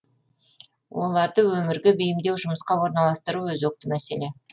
оларды өмірге бейімдеу жұмысқа орналастыру өзекті мәселе